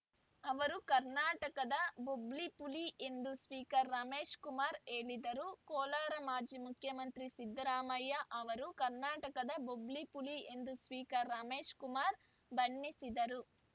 ಅವರು ಕರ್ನಾಟಕದ ಬೊಬ್ಬಿಲಿ ಪುಲಿ ಎಂದು ಸ್ಪೀಕರ್‌ ರಮೇಶ್‌ ಕುಮಾರ್‌ ಹೇಳಿದರು ಕೋಲಾರ ಮಾಜಿ ಮುಖ್ಯಮಂತ್ರಿ ಸಿದ್ದರಾಮಯ್ಯ ಅವರು ಕರ್ನಾಟಕದ ಬೊಬ್ಬುಲಿ ಪುಲಿ ಎಂದು ಸ್ಪೀಕರ್‌ ರಮೇಶ್‌ ಕುಮಾರ್‌ ಬಣ್ಣಿಸಿದರು